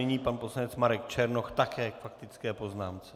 Nyní pan poslanec Marek Černoch, také k faktické poznámce.